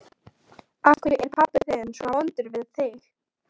Af hverju er pabbi þinn svona vondur við þig?